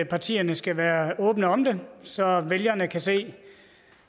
partierne skal være åbne om det så vælgerne kan se